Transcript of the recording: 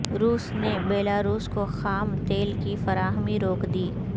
روس نے بیلاروس کو خام تیل کی فراہمی روک دی